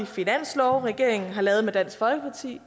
finanslove regeringen har lavet med dansk folkeparti